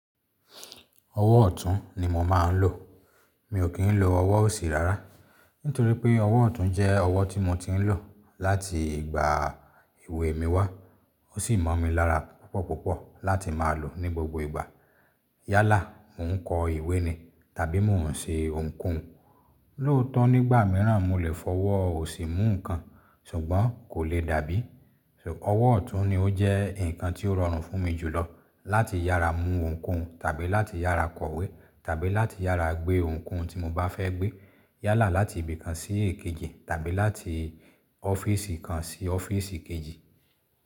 Ọwọ́ ọ̀tún ni mo máa ń lò. Mi ò kí ń lo ọwọ́ òsì rárá. Nítorí pé ọwọ́ ọ̀tún jẹ́ ọwọ́ tí mo ti ń lò láti ìgbà èwe mi wá. Ó sì mọ̀ mi lára púpọ̀púpọ̀ láti máa lò ní gbogbo ìgbà. Yálà, mo ń kọ ìwé ni tàbí mo ń ṣe ohunkóhun. Lóòótọ́ nígbà míràn mo lè fọ ọwọ́ òsì mú nǹkan ṣùgbọ́n kò le dàbí. Ọwọ́ ọ̀tún ni ó jẹ́ nǹkan tí ó rọrùn fún mi jùlọ láti yára mú ohunkóhun tàbí láti yára kọ ìwé tàbí láti yára gbé ohunkóhun tí mo bá fẹ́ gbé. Yálà láti ibi kan sí èkejì tàbí láti ọ́fíìsì kan sí ọ́fíìsì kejì.